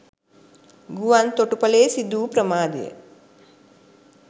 ගුවන් තොටුපළේ සිදු වූ ප්‍රමාදය